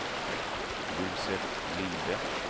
Josef Linde